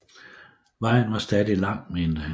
Vejen var stadig lang mente han